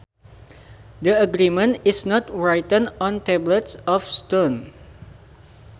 The agreement is not written on tablets of stone